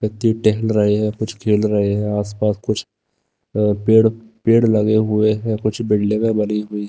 व्यक्ति टहल रहे हैं कुछ खेल रहे हैं आसपास कुछ अह पेड़ पेड़ लगे हुए हैं कुछ बिल्डिंगे बनी हुई--